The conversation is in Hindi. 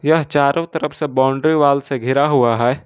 यह चारो तरफ से बाउंड्री वॉल से घिरा हुआ है।